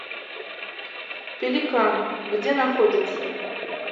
пеликан где находится